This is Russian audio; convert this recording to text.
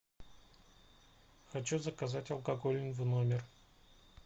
хочу заказать алкоголь в номер